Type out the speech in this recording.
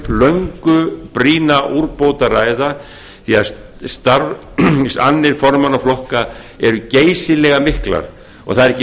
löngu brýna úrbót að ræða því að starfsannir formanna flokka eru geysilega miklar það er ekki